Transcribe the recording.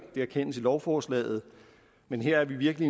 det erkendes i lovforslaget men her er vi virkelig